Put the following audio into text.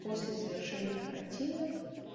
после завершения карантина